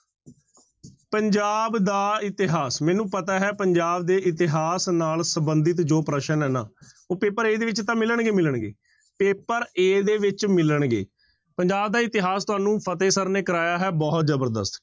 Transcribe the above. ਪੰਜਾਬ ਦਾ ਇਤਿਹਾਸ ਮੈਨੂੰ ਪਤਾ ਹੈ ਪੰਜਾਬ ਦੇ ਇਤਿਹਾਸ ਨਾਲ ਸੰਬੰਧਿਤ ਜੋ ਪ੍ਰਸ਼ਨ ਹੈ ਨਾ ਉਹ ਪੇਪਰ a ਦੇ ਵਿੱਚ ਤਾਂ ਮਿਲਣਗੇ ਹੀ ਮਿਲਣਗੇ, ਪੇਪਰ a ਦੇ ਵਿੱਚ ਮਿਲਣਗੇ, ਪੰਜਾਬ ਦਾ ਇਤਿਹਾਸ ਤੁਹਾਨੂੰ ਫ਼ਤਿਹ ਸਰ ਨੇ ਕਰਵਾਇਆ ਹੈ ਬਹੁਤ ਜ਼ਬਰਦਸਤ।